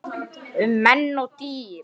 Um menn og dýr